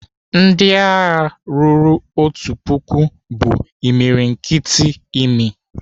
Ndịagha ruru otu puku bụ imiriikiti imi.